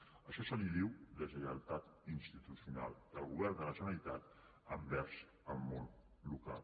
d’això se’n diu deslleialtat institucional del govern de la generalitat envers el món local